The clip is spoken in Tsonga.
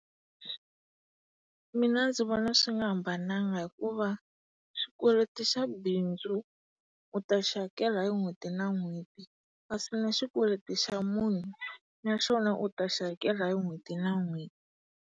Mina ndzi vona swi nga hambananga hikuva xikweleti xa bindzu u ta xi hakela hi n'hweti na n'hweti kasi na xikweleti xa munhu na xona u ta xi hakela hi n'hweti na n'hweti.